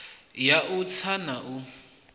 ya u tsa na u